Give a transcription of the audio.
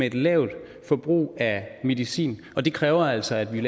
et lavt forbrug af medicin og det kræver altså at vi